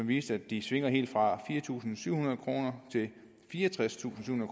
viste at de svinger helt fra fire tusind syv hundrede kroner til fireogtredstusinde og